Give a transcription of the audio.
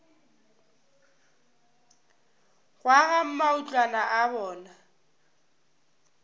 go aga matlwana a bona